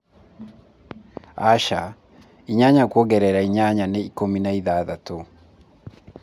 aca, inyanya kwongerera inyanya nĩ ikũmi na iththatũ